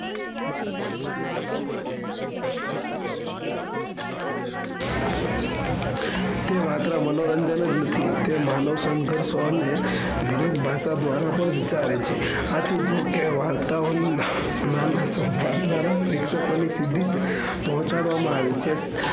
તે માત્ર મનોરંજન જ નથી તે માનવ સંકલ્પ ને વિવિદ ભસગ દ્વારા પણ વિચારે છે. આથી વાર્તાઓનું નામે વાર્તાઓના પ્રેક્ષકમાંથી સીધી પહોંચાડવામાં આવી છે.